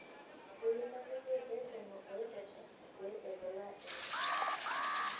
Keyieu nepiki reteno oitosha pee eibulaa enkisuma.